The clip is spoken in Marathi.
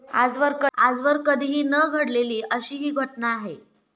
आजवर कधीही न घडलेली अशी ही घटना आहे.